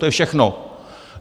To je všechno.